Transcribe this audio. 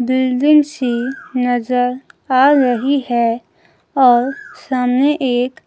building सी नजर आ रही है और सामने एक